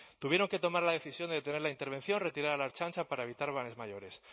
tuvieron que tomar la decisión de detener la intervención retirar a la ertzaintza para evitar males mayores